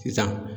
Sisan